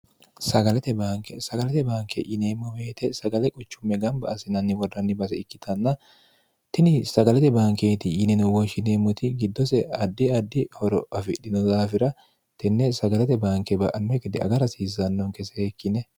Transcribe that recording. sagalate baanke yineemmo meete sagale quchumme gamba asinanni worranni base ikkitanna tini sagalate bankeeti yineno wooshshineemmoti giddose addi addi horo ofidhino daafira tenne sagalate baanke ba'anme gidde aga rasiisannonke seekkine